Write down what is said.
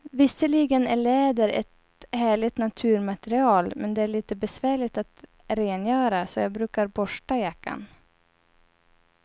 Visserligen är läder ett härligt naturmaterial, men det är lite besvärligt att rengöra, så jag brukar borsta jackan.